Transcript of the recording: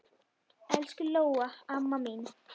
Elsku Lóa amma mín.